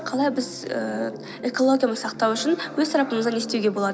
қалай біз ііі экологияны сақтау үшін өз тарапымыздан не істеуге болады